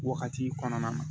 Wagati kɔnɔna na